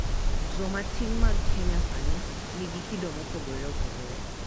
Jomatin mag Kenya sani nigi kido mopogore opogore